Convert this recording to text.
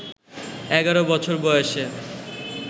১১ বছর বয়সে